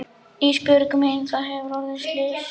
Ísbjörg mín það hefur orðið slys.